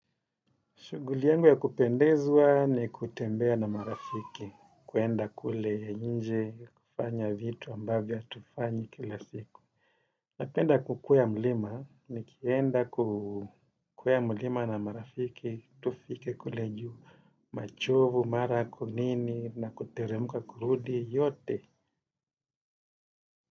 Shughuli yangu ya kupendeza ni kutembea na marafiki, kuenda kule nje, kufanya vitu ambavyo hatufanyi kila siku. Napenda kukwea mlima, nikienda kukwea mlima na marafiki, tufike kule juu, machovu, mara ku nini, na kuteremka kurudi, yote.